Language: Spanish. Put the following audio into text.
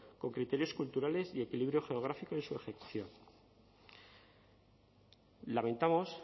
con criterios culturales y equilibrio geográfico en su ejecución lamentamos